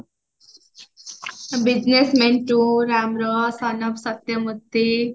ରାମର